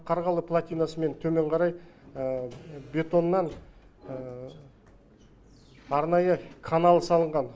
қарғалы платинасымен төмен қарай бетоннан арнайы канал салынған